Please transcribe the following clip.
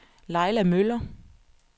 Laila Møller